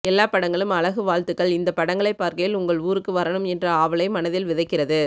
எல்லா படங்களும் அழகு வாழ்த்துக்கள் இந்த படங்களை பார்க்கையில் உங்கள் ஊருக்கு வரணும் என்ற ஆவலை மனதில் விதைக்கிறது